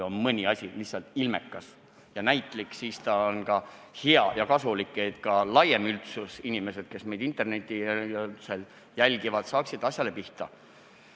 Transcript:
Kui mõni asi on lihtsalt ilmekas ja näitlik, siis ta on ka hea ja kasulik – laiem üldsus, inimesed, kes meid internetis jälgivad, saavad asjale kergemini pihta.